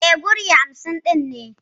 E, wuri hamsin ɗin ne.